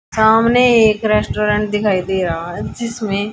सामने एक रेस्टोरेंट दिखाई दे रहा है जिसमें--